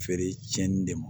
Feere tiɲɛni de ma